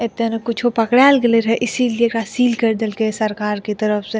एता ने कुछु पकड़ाल गेलेे रहे इसीलिए एकरा सील कर देल के सरकार के तरफ से।